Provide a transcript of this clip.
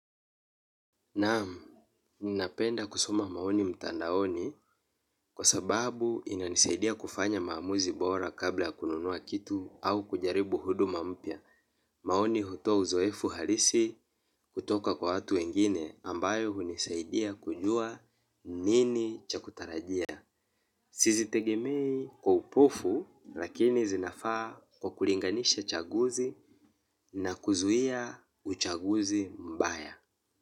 Naam, ninapenda kusoma maoni mtandaoni kwa sababu inanisaidia kufanya maamuzi bora kabla kununua kitu au kujaribu huduma mpya. Maoni hutoa uzoefu halisi kutoka kwa watu wengine ambayo hunisaidia kujua nini cha kutarajia. Sizitegemei kwa upofu lakini zinafaa kwa kuringanisha chaguzi na kuzuia uchaguzi mbaya.